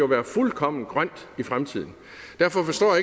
være fuldkommen grønt i fremtiden derfor forstår